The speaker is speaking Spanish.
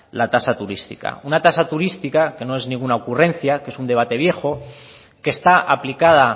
la tasa turística una tasa turística que no es ninguna ocurrencia que es un debate viejo que está aplicada